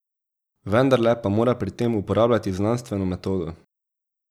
Vendarle pa mora pri tem uporabljati znanstveno metodo.